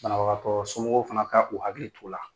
Banabagatɔ somɔgɔw fana kan k'u hakili t'u la.